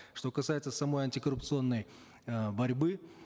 что касается самой антикоррупционной э борьбы